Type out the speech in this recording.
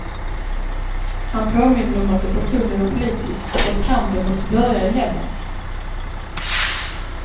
Han påminde om att det personliga var politiskt och att kampen måste börja i hemmet.